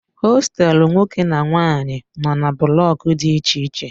Hostelu nwoke na nwanyị nọ na blọk dị iche iche